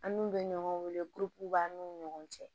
An n'u bɛ ɲɔgɔn wele b'an n'u ni ɲɔgɔn cɛ